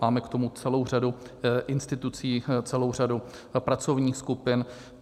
Máme k tomu celou řadu institucí, celou řadu pracovních skupin.